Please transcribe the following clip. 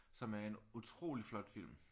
Som er en utrolig flot film